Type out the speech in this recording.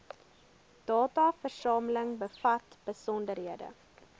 dataversameling bevat besonderhede